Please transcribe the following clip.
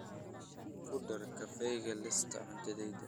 ku dar kafeega liiska cuntadayda